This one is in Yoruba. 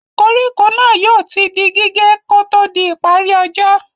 Koríko náà yóò ti di gígé kò ó tó di ìparí ọjọ́.